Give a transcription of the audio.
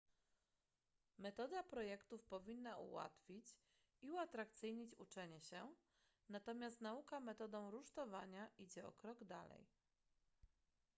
metoda projektów powinna ułatwić i uatrakcyjnić uczenie się natomiast nauka metodą rusztowania idzie o krok dalej